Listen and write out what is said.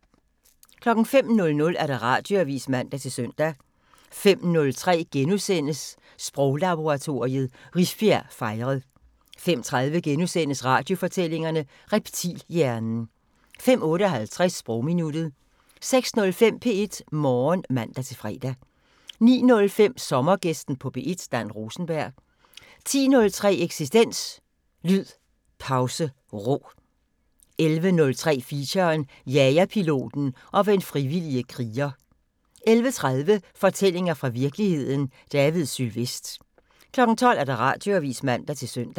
05:00: Radioavisen (man-søn) 05:03: Sproglaboratoriet: Rifbjerg fejret * 05:30: Radiofortællinger: Reptilhjernen * 05:58: Sprogminuttet 06:05: P1 Morgen (man-fre) 09:05: Sommergæsten på P1: Dan Rosenberg 10:03: Eksistens: Lyd Pause Ro 11:03: Feature: Jagerpiloten og den frivillige kriger 11:30: Fortællinger fra virkeligheden – David Sylvest 12:00: Radioavisen (man-søn)